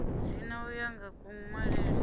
dzina u ya nga kunwalele